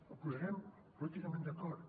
els posarem políticament d’acord